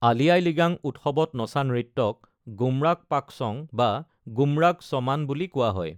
আলি আই লৃগাং উৎসৱত নচা নৃত্যক গুমৰাগ্ পাকচং বা গুমৰাগ চঃমান বুলি কোৱা হয়।